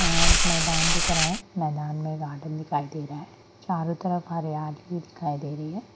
यहां एक मैदान दिख रहा है मैदान मे गार्डन दिखाई दे रहा है चारो तरफ हरियाली ही दिखाई दे रही है।